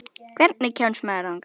Hvernig kemst maður þangað?